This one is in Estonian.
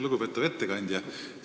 Lugupeetav ettekandja!